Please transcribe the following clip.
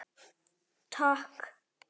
Takk